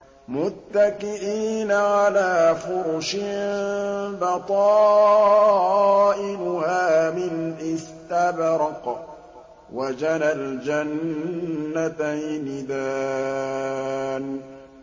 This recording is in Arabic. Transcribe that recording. مُتَّكِئِينَ عَلَىٰ فُرُشٍ بَطَائِنُهَا مِنْ إِسْتَبْرَقٍ ۚ وَجَنَى الْجَنَّتَيْنِ دَانٍ